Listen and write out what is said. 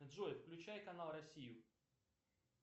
джой включай канал россию